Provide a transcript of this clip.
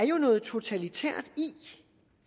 jo er noget totalitært i